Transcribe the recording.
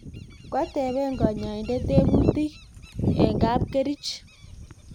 koateben nyoindet tebutik eng kapkerich